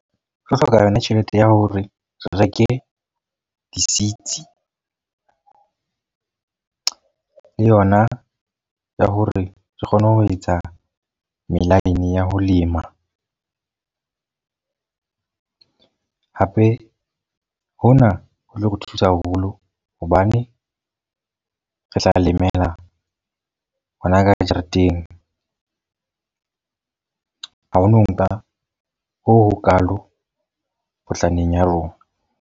Re hloka yona tjhelete ya hore re reke di-seeds. le yona ya hore re kgone ho etsa melaene ya ho lema. Hape hona ho tlo re thusa haholo hobane re tla lemela hona ka jareteng. Ha ho no nka ho ho kalo potlaneng ya rona.